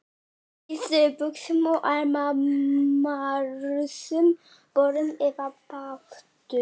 Í stuttbuxum og ermalausum bolum eða baðfötum.